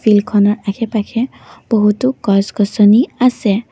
ফিল্ডখনৰ আশে পাশে বহুতো গছ গছনি আছে।